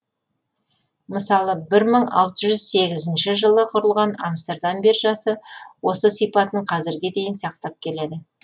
мысалы бір мың алтыь жүз сегізінші жылы құрылған амстердам биржасы осы сипатын қазірге дейін сақтап келеді